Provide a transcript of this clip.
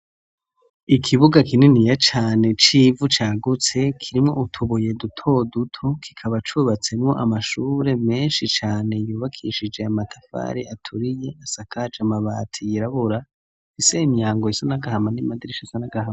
ikibuga kininiya cane c'ivu cagutse kirimwo utubuye duto duto kikaba cubatsemwo amashure menshi cane yubakishijwe amatafari aturiye asakajwe amabati yirabura afise imiryango isa n'agahama n'amadirisha asa nagahama.